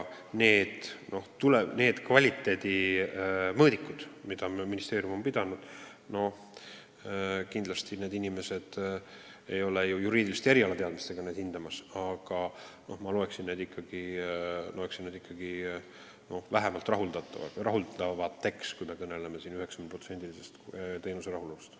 Mis puutub kvaliteedimõõdikutesse, siis neil inimestel ei ole ju juriidilisi teadmisi, et seda abi hinnata, aga ma loen seda vähemalt rahuldavaks, kui jutt on 90%-lisest rahulolust.